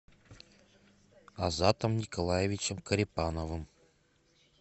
азатом николаевичем корепановым